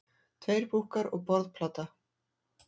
Tveir búkkar og borðplata.